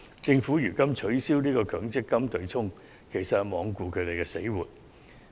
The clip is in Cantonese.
政府取消強積金對沖安排，其實是罔顧他們的死活。